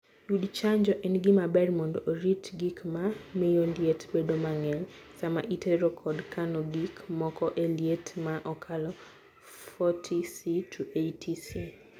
Yud chanjo. En gima ber mondo orit gik ma miyo liet bedo mang'eny sama itero kod kano gik moko e liet ma okalo 4oC - 8oC.